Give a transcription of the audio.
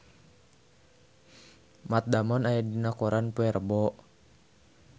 Matt Damon aya dina koran poe Rebo